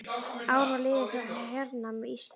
Ár var liðið frá hernámi Íslands.